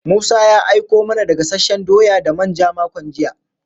Musa ya aiko mana da gasasshen doya da manja makon jiya.